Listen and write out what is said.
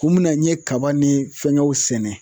Kun min na n ye kaba ni fɛngɛw sɛnɛ